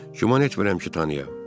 Güman etmirəm ki, tanıyayam.